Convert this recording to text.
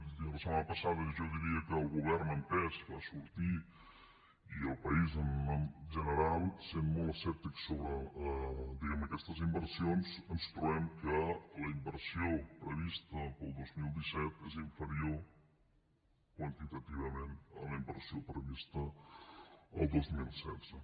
és a dir la setmana passada jo diria que el govern en pes va sortir i el país en general sent molt escèptic sobre diguem ne aquestes inversions i ens trobem que la inversió prevista per al dos mil disset és inferior quantitativament a la inversió prevista el dos mil setze